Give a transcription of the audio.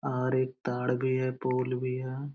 और एक ताड़ भी है पोल भी है।